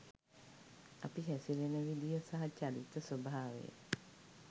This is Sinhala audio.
අපි හැසිරෙන විදිය සහ චරිත ස්වභාවය